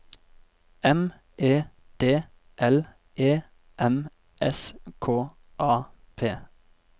M E D L E M S K A P